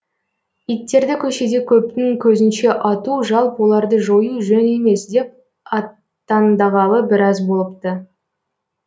иттерді көшеде көптің көзінше ату жалпы оларды жою жөн емес деп аттандағалы біраз болыпты